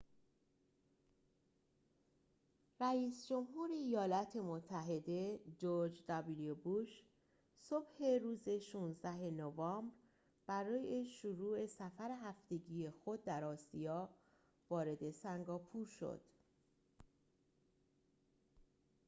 رئیس جمهور ایالات متحده جرج دابلیو بوش صبح روز ۱۶ نوامبر برای شروع سفر هفتگی خود در آسیا وارد سنگاپور شد